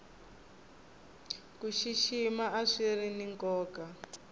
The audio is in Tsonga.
ku xixima a swiri ni nkoka